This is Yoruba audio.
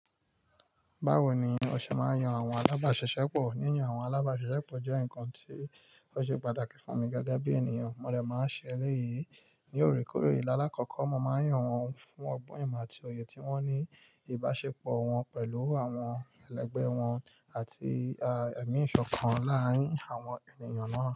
Báwo ni o ṣe máa yan àwọn alábàáṣiṣẹ́pọ̀? Níyan àwọn alábàáṣiṣẹ́pọ̀ jẹ́ nǹkan tí ó ṣe pàtàkì fún mi gẹ́gẹ́ bí ènìyàn. Mo dẹ̀ máa ń ṣe é elẹ́yì ní òrékòrè. Láàkọ́kọ́, mo máa ń yàn wọ́n fún ọgbọ́n, ìmọ̀ àti òye tí wọ́n ní, ìbáṣepọ̀ wọn pẹ̀lú àwọn ẹlẹgbẹ́ wọn àti ẹ̀mí ìṣọ̀kan láàárín àwọn ènìyàn náà.